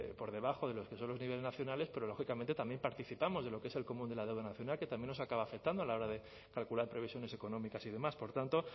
por debajo de los que son los niveles nacionales pero lógicamente también participamos de lo que es el común de la deuda nacional que también nos acaba afectando a la hora de calcular previsiones económicas y demás por tanto